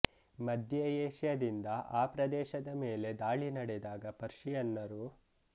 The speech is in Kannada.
ಮಧ್ಯೆ ಏಷ್ಯಾದಿಂದ ಆ ಪ್ರದೇಶದ ಮೇಲೆ ದಾಳಿ ನಡೆದಾಗ ಪರ್ಷಿಯನ್ನರು